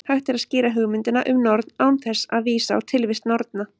Hægt er að skýra hugmyndina um norn án þess að vísa á tilvist norna.